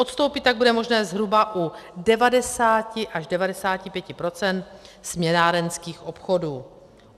Odstoupit tak bude možné zhruba u 90 až 95 % směnárenských obchodů.